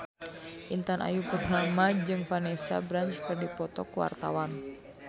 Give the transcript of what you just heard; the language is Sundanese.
Intan Ayu Purnama jeung Vanessa Branch keur dipoto ku wartawan